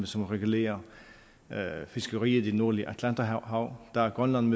som regulerer fiskeriet i det nordlige atlanterhav der er grønland